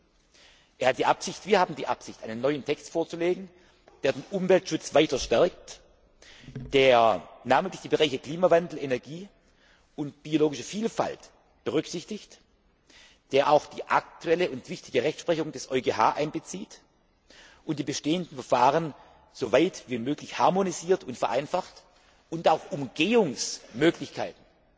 Er hat und wir haben die Absicht, einen neuen Text vorzulegen, der den Umweltschutz weiter stärkt, der namentlich die Bereiche Klimawandel, Energie und biologische Vielfalt berücksichtigt, der auch die aktuelle und wichtige Rechtsprechung des EuGH einbezieht und die bestehenden Verfahren soweit wie möglich harmonisiert und vereinfacht und auch Umgehungsmöglichkeiten